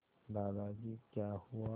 दादाजी क्या हुआ